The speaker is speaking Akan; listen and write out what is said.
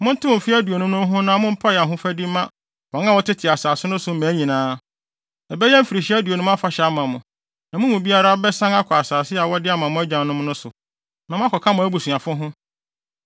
Montew mfe aduonum no ho na mompae ahofadi mma wɔn a wɔtete asase no so mmaa nyinaa. Ɛbɛyɛ mfirihyia aduonum afahyɛ ama mo, na mo mu biara bɛsan akɔ asase a wɔde ama mo agyanom no so, na moakɔka mo abusuafo ho.